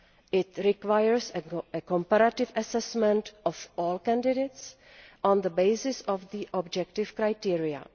It requires a comparative assessment of all candidates on the basis of objective criteria.